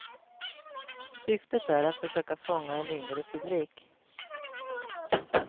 Syftet är att försöka fånga en yngre publik.